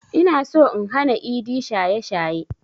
Inaso in hana idi shaye shaye